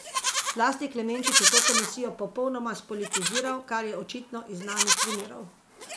Zlasti Klemenčič je to komisijo popolnoma spolitiziral, kar je očitno iz znanih primerov.